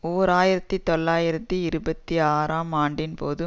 ஓர் ஆயிரத்தி தொள்ளாயிரத்தி இருபத்தி ஆறாம் ஆண்டின் போது